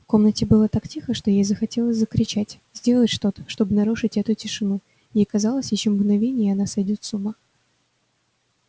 в комнате было так тихо что ей захотелось закричать сделать что-то чтобы нарушить эту тишину ей казалось ещё мгновение и она сойдёт с ума